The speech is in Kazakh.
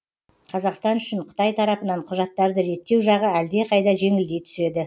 қазақстан үшін қытай тарапынан құжаттарды реттеу жағы әлдеқайда жеңілдей түседі